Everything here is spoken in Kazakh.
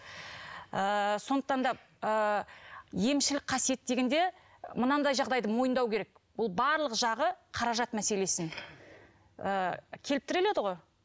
ыыы сондықтан да ыыы емшілік қасиет дегенде мынандай жағдайды мойындау керек ол барлық жағы қаражат мәселесінен ы келіп тіреледі ғой